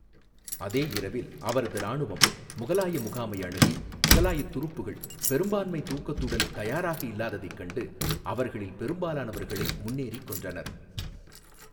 அதே இரவில், அவரது இராணுவம் முகலாய முகாமை அணுகி, முகலாய துருப்புக்கள் பெரும்பான்மை தூக்கத்துடன் தயாராக இல்லாததைக் கண்டு, அவர்களில் பெரும்பாலானவர்களை முன்னேறி கொன்றனர்.